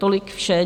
Tolik vše.